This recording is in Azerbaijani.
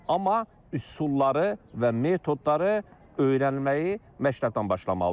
Amma üsulları və metodları öyrənməyi məktəbdən başlamalıdır.